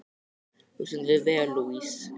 Þú stendur þig vel, Louise!